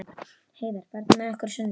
Heiðar, ferð þú með okkur á sunnudaginn?